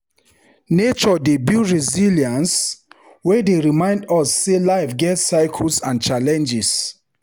Nature dey build resilience wey dey remind us sey life get cycles and challenges.